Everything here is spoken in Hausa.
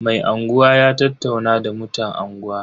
Mai unguwa ya tattauna da mutan unguwa.